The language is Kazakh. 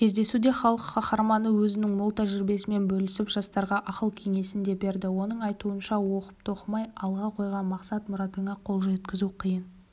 кездесуде халық қаһарманы өзінің мол тәжірибесімен бөлісіп жастарға ақыл-кеңесін де берді оның айтуынша оқып-тоқымай алға қойған мақсат-мұратыңа қол жеткізу қиын